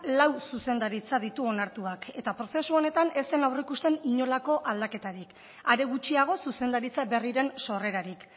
lau zuzendaritza ditu onartuak eta prozesu honetan ez zen aurreikusten inolako aldaketarik are gutxiago zuzendaritza berriren sorrerarik